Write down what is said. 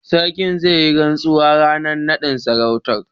Sarkin zai yi rantsuwa ranar bikin naɗin sarautar.